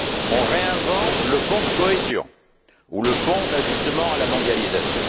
On réinvente le Fonds de cohésion ou le Fonds d'ajustement à la mondialisation.